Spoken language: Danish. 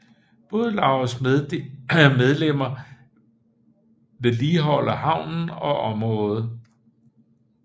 Bådelaugets medlemmer vedligeholder havnen og området